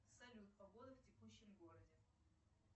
салют погода в текущем городе